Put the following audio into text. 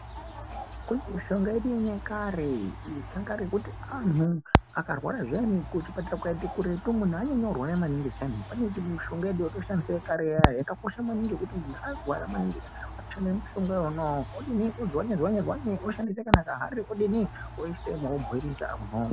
Kune mishonga yedu yenyakare yekuti anhu akarwara zviyani kuchipatara kukaita kuretu munhu anyanya kurwara maningi zviyani. Pane mishonga yedu yekare iya iya yakakosha maningi kuti kana munhu arwara maningika anotora mushonga iwona iwoo odini odzwanye-dzwanye oshandise kana kahari odini, oisemo obhoirisa munhu omwa.